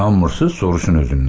İnanmırsız, soruşun özümdən.